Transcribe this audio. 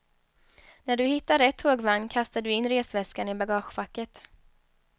När du hittar rätt tågvagn kastar du in resväskan i bagagefacket.